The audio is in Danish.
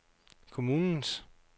kommunens